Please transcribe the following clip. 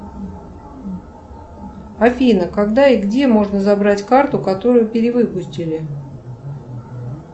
афина когда и где можно забрать карту которую перевыпустили